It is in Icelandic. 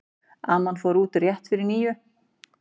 Amma fór út rétt fyrir níu.